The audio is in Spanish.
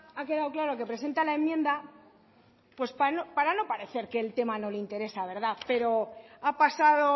ha quedado claro que presenta la enmienda pues para no parecer que el tema no le interesa pero ha pasado